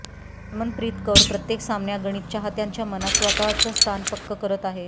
हरमनप्रीत कौर प्रत्येक सामन्यागणित चाहत्यांच्या मनात स्वतःचं स्थान पक्क करत आहे